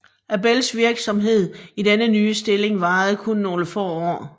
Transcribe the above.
Abells virksomhed i denne nye stilling varede kun nogle få år